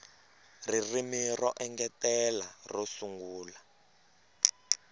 ririmi ro engetela ro sungula